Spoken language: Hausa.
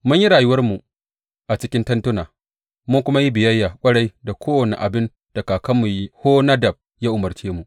Mun yi rayuwarmu a cikin tentuna mun kuma yi biyayya ƙwarai da kowane abin da kakanmu Yehonadab ya umarce mu.